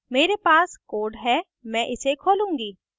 मेरे पास code है मैं इसे खोलूंगी